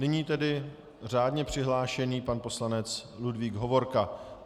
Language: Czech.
Nyní tedy řádně přihlášený pan poslanec Ludvík Hovorka.